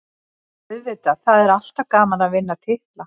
Auðvitað, það er alltaf gaman að vinna titla.